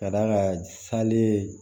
Ka d'a kan sale